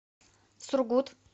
сургут